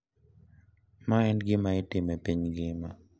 Ma en gima itimo e piny ngima.